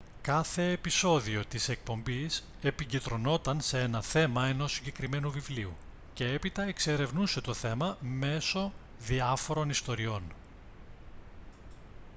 κάθε επεισόδιο της εκπομπής επικεντρωνόταν σε ένα θέμα ενός συγκεκριμένου βιβλίου και έπειτα εξερευνούσε το θέμα μέσω διάφορων ιστοριών